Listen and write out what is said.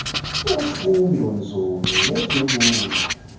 ufundo nzulo ngezobomi